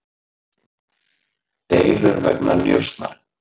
Deilur vegna njósnara